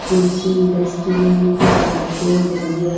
कुर्सी डस्टबिन कुछ डब्बे डलिया--